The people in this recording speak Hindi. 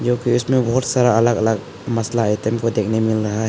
जो में बहुत सारा अलग अलग मसाला आइटम को देखने मिल रहा है।